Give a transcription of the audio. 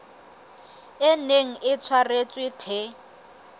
e neng e tshwaretswe the